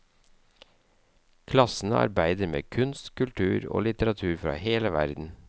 Klassene arbeider med kunst, kultur og litteratur fra hele verden.